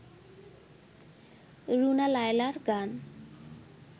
রুনা লায়লার গান